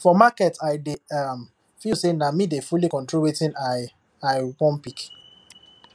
for market i dey um feel say na me dey fully control wetin i i wan pick